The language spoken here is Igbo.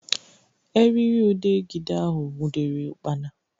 Erịrịudegịde ahụ nwụdere ụkpana